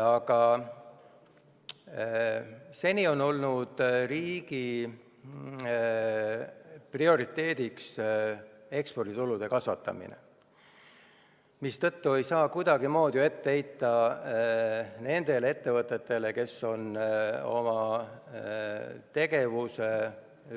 Aga seni on olnud riigi prioriteediks eksporditulude kasvatamine, mistõttu ei saa kuidagimoodi teha etteheiteid nendele ettevõtetele, kes on oma tegevuse